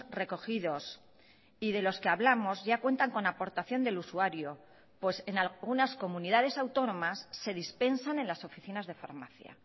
recogidos y de los que hablamos ya cuentan con aportación del usuario pues en algunas comunidades autónomas se dispensan en las oficinas de farmacia